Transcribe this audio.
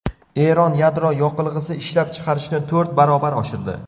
Eron yadro yoqilg‘isi ishlab chiqarishni to‘rt baravar oshirdi.